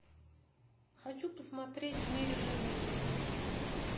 хочу посмотреть в мире животных